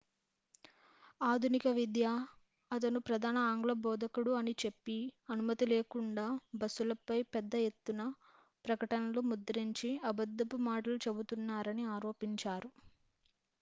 ఆధునిక విద్య అతను ప్రధాన ఆంగ్ల బోధకుడు అని చెప్పి అనుమతి లేకుండా బస్సులపై పెద్ద ఎత్తున ప్రకటనలు ముద్రించి అబద్దపు మాటలు చెబుతున్నారని ఆరోపించారు